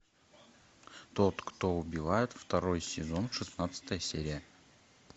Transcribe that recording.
тот кто убивает второй сезон шестнадцатая серия